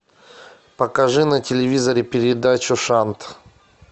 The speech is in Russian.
покажи на телевизоре передачу шант